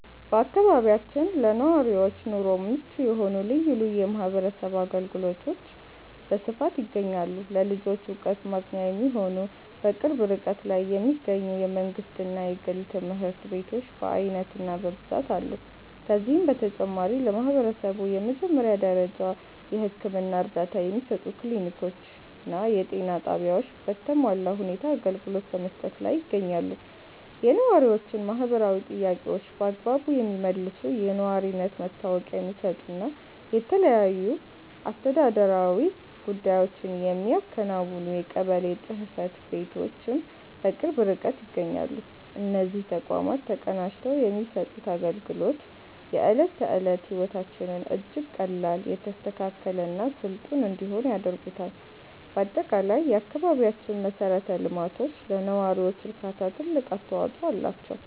በአካባቢያችን ለነዋሪዎች ኑሮ ምቹ የሆኑ ልዩ ልዩ የማህበረሰብ አገልግሎቶች በስፋት ይገኛሉ። ለልጆች ዕውቀት ማግኛ የሚሆኑ፣ በቅርብ ርቀት ላይ የሚገኙ የመንግሥትና የግል ትምህርት ቤቶች በዓይነትና በብዛት አሉ። ከዚህም በተጨማሪ፣ ለማህበረሰቡ የመጀመሪያ ደረጃ የሕክምና እርዳታ የሚሰጡ ክሊኒኮችና የጤና ጣቢያዎች በተሟላ ሁኔታ አገልግሎት በመስጠት ላይ ይገኛሉ። የነዋሪዎችን ማህበራዊ ጥያቄዎች በአግባቡ የሚመልሱ፣ የነዋሪነት መታወቂያ የሚሰጡና የተለያዩ አስተዳደራዊ ጉዳዮችን የሚያከናውኑ የቀበሌ ጽሕፈት ቤቶችም በቅርብ ርቀት ይገኛሉ። እነዚህ ተቋማት ተቀናጅተው የሚሰጡት አገልግሎት፣ የዕለት ተዕለት ሕይወታችንን እጅግ ቀላል፣ የተስተካከለና ስልጡን እንዲሆን ያደርጉታል። በአጠቃላይ፣ የአካባቢያችን መሠረተ ልማቶች ለነዋሪው እርካታ ትልቅ አስተዋጽኦ አላቸው።